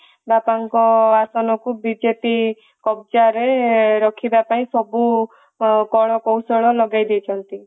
ବାପାଙ୍କ ଆସନକୁ ବିଜେପି କବ୍ଜା ରେ ରଖିବା ପାଇଁ ସବୁ କଳ କୌଶଳ ଲଗେଇ ଦେଇଛନ୍ତି